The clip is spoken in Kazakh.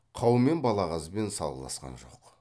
қаумен балағазбен салғыласқан жоқ